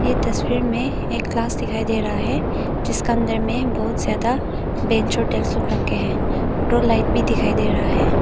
ये तस्वीर में एक क्लास दिखाई दे रहा है जिसके अंदर में बहुत ज्यादा बेंच और डेस्क लोग रखें है और रोड लाइट भी दिखाई दे रहा है।